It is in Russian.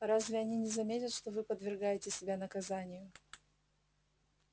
а разве они не заметят что вы подвергаете себя наказанию